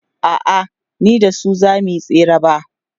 a'a ni da su zamuyi tsere ba